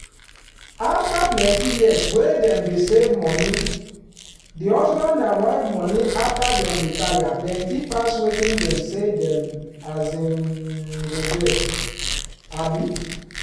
after plenty years wey dem dey save money di husband and wife money after dem retire plenty pass wetin dem say dem um go get. um